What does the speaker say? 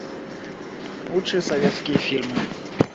лучшие советские фильмы